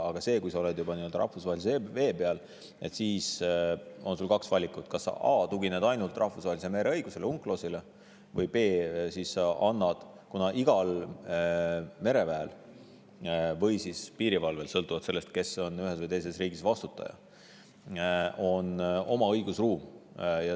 Aga kui sa oled juba rahvusvahelistes vetes, siis on sul kaks valikut: a) tugineda ainult rahvusvahelisele mereõigusele ehk UNCLOS‑ile; b) igal mereväel või piirivalvel on sõltuvalt sellest, kes on ühes või teises riigis vastutaja, oma õigusruum.